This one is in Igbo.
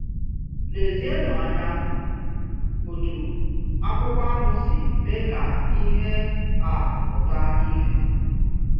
Lezienụ anya otu akwụkwọ ahụ si mee ka ihe a pụta ìhè.